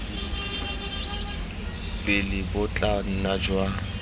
pele bo tla nna jwa